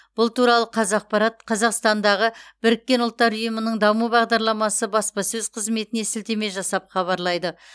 бұл туралы қазақпарат қазақстандағы біріккен ұлттар ұйымының даму бағдарламасы баспасөз қызметіне сілтеме жасап хабарлайды